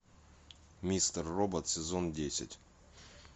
мистер робот сезон десять